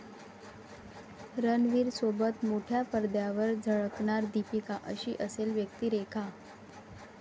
रणवीरसोबत मोठ्या पडद्यावर झळकणार दीपिका, अशी असेल व्यक्तिरेखा